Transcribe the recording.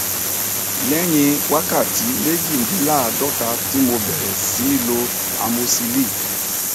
lẹyìn wákàtí méjìdínláàádọta tí mo bẹrẹ sí í lo amosíìlì